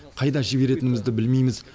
қайда жіберетінімізді білмейміз